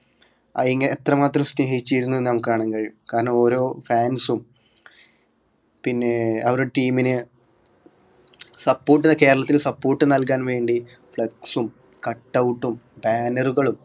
അയിന് എത്രമാത്രം സ്നേഹിച്ചിരുന്നു നമുക്ക് കാണാൻ കഴിയും കാരണം ഓരോ fans ഉം പിന്നെ അവരുടെ team ന് support കേരളത്തിൽ support നൽകാൻ വേണ്ടി flex ഉം cut out ഉം banner കളും